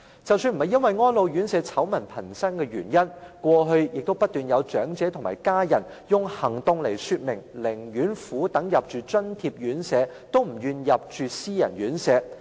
即使並非由於安老院舍醜聞頻生，過往亦不斷有長者或其家人，以行動說明寧願苦等入住津貼院舍，也不願入住私人院舍。